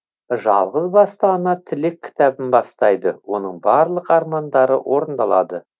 жалғыз басты ана тілек кітабын бастайды оның барлық армандары орындалады